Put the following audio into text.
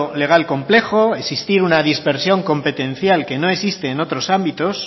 legal complejo existir una dispersión competencial que no existe en otros ámbitos